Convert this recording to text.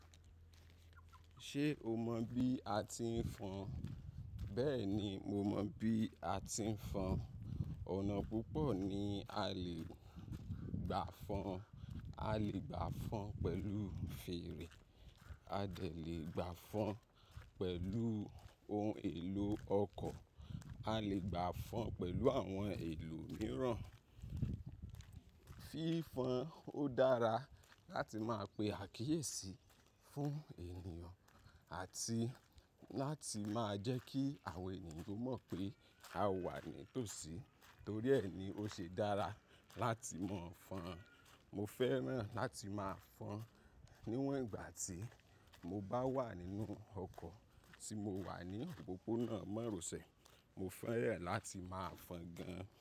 Ṣé o mọ bí a ti ń fọn? Bẹ́ẹ̀ni, mo mọ bí a ti ń fọn. Ọ̀nà púpọ̀ ni a lè gbà fọn. A lè gbà fọn pẹ̀lú fèrè, a lè gbà fọn pẹ̀lú ohun èlò ọkọ̀, a lè gbà fọn pẹ̀lú àwọn èlò mìíràn. Fí fọn ó dára láti máa pe àkíyèsí fún ènìyàn àti láti máa jẹ́ kí àwọn ènìyàn mọ̀ pé a wà ní tòsí. Torí ẹ ni ó ṣe dára láti mọ fọn. Mo fẹ́ràn láti máa fọn níwọ̀n ìgbà tí mo bá wà nínú ọkọ̀ tí mo wà ní òpópónà márosẹ̀. Mo fẹ́ràn láti máa fọn gan.